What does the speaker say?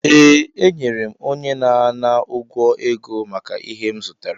Ee, enyere m onye na-ana ụgwọ ego maka ihe m zụtara